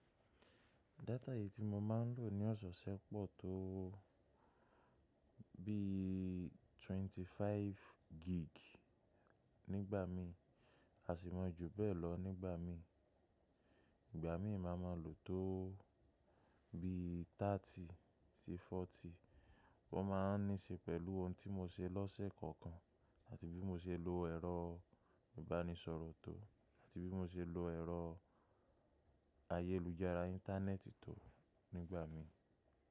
Data yìí tí mo máa ń lò ní ọ̀sẹ̀ ṣẹ́pọ̀ tó bí mẹ́ẹ̀ẹ́dọ́gbọ̀n gig nígbà mí, a sì mọ ju bẹ́ẹ̀ lọ nígbà mí. Ìgbà mí máa ma lò tó bí ọgbọ̀n sí ogójì. Ọ́ máa ń ní ṣe pẹ̀lú ohun tí mo ṣe lọ́sẹ̀ kọ̀ọ̀kan àti bí mo ṣe lo ẹ̀rọ ìbánisọ̀rọ̀ tó àti bí mo ṣe lo ẹ̀rọ ayélujára Íńtánẹ́ẹ̀tì tó nígbà mi.